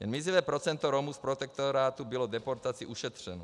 Jen mizivé procento Romů z protektorátu bylo deportace ušetřeno.